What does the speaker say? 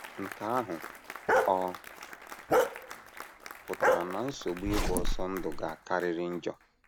Nke ahụ ọ̀ pụtara na nsogbu ịgba ọsọ ndụ ga - akarịrị njọ?